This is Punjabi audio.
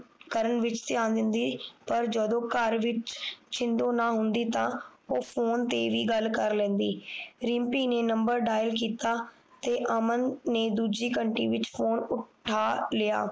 ਕਰਨ ਵਿਚ ਧਿਆਨ ਦਿੰਦੀ ਪਰ ਜਦੋ ਘਰ ਵਿਚ ਛਿੰਦੋ ਨਾ ਹੁੰਦੀ ਤਾ ਉਹ ਫੋਨ ਤੇ ਵੀ ਗੱਲ ਕਰ ਲੈਂਦੀ ਰਿਮਪੀ ਨੇ Number Dial ਕੀਤਾ ਤੇ ਅਮਨ ਨੇ ਦੂਜੀ ਘੰਟੀ ਵਿਚ ਫੋਨ ਉਠਾ ਲਿਆ